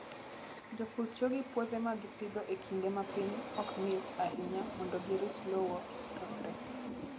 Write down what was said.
Jopur tiyo gi puothe ma gipidho e kinde ma piny ok ng'ich ahinya mondo girit lowo kik kethre.